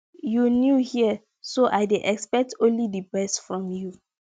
you new here so i dey expect only the best from you